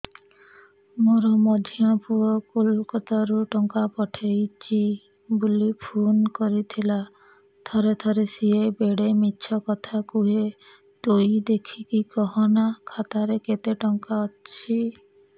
ମୋର ମଝିଆ ପୁଅ କୋଲକତା ରୁ ଟଙ୍କା ପଠେଇଚି ବୁଲି ଫୁନ କରିଥିଲା ଥରେ ଥରେ ସିଏ ବେଡେ ମିଛ କଥା କୁହେ ତୁଇ ଦେଖିକି କହନା ଖାତାରେ କେତ ଟଙ୍କା ଅଛି